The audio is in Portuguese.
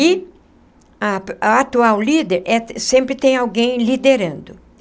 E a a atual líder é, sempre tem alguém liderando.